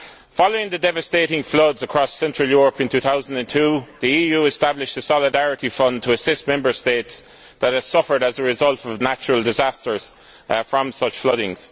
Following the devastating floods across central Europe in 2002, the EU established a solidarity fund to assist Member States that had suffered as a result of natural disasters from such flooding.